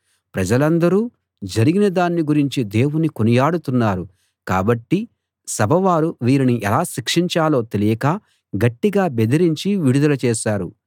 ప్రజలందరూ జరిగిన దాన్ని గురించి దేవుని కొనియాడుతున్నారు కాబట్టి సభవారు వీరిని ఎలా శిక్షించాలో తెలియక గట్టిగా బెదరించి విడుదల చేశారు